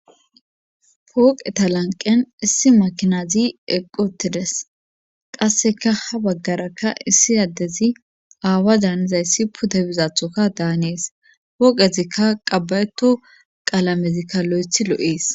Pooqeta lanqqen issi makinazi eqqi uttides qasseka ha baggarakka issi addezi aawa daanizayssi pude bizaathika daanes pooqettikka qabba7etto qalazikka loythi lo7ees.